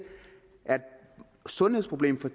sundhedsproblem